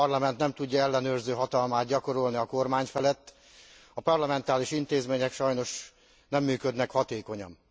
A Parlament nem tudja ellenőrző hatalmát gyakorolni a kormány felett, a parlamentáris intézmények sajnos nem működnek hatékonyan.